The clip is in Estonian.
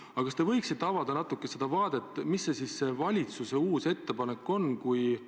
Aga kas te võiksite natukene avada, mis on valitsuse uus ettepanek?